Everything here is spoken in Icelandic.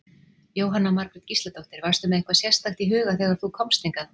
Jóhanna Margrét Gísladóttir: Varstu með eitthvað sérstakt í huga þegar þú komst hingað?